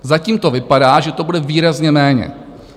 Zatím to vypadá, že to bude výrazně méně.